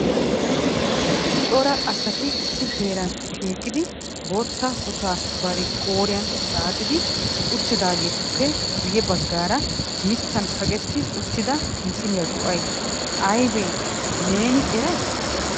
Cora asati issi heeran shiiqidi bootta kutaa bari qooriyaan xaaxxidi uttidaagetuppe guyye baggaara mittan kaqeti uttidaa misiliya go"ay aybbe neeni eray?